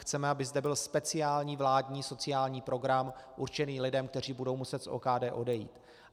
Chceme, aby zde byl speciální vládní sociální program určený lidem, kteří budou muset z OKD odejít.